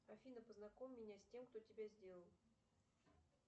афина познакомь меня с тем кто тебя сделал